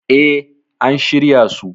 E, an shirya su.